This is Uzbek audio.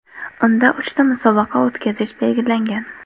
Unda uchta musobaqa o‘tkazish belgilangan.